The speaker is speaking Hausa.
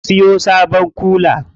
Mun siyo sabon kula.